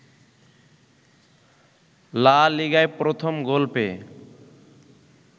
লা লিগায় প্রথম গোল পেয়ে